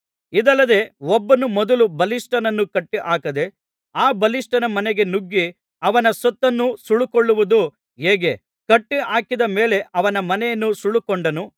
ಇದಲ್ಲದೆ ಒಬ್ಬನು ಮೊದಲು ಬಲಿಷ್ಠನನ್ನು ಕಟ್ಟಿಹಾಕದೆ ಆ ಬಲಿಷ್ಠನ ಮನೆಗೆ ನುಗ್ಗಿ ಅವನ ಸೊತ್ತನ್ನು ಸುಲುಕೊಳ್ಳುವುದು ಹೇಗೆ ಕಟ್ಟಿಹಾಕಿದ ಮೇಲೆ ಅವನ ಮನೆಯನ್ನು ಸುಲುಕೊಂಡಾನು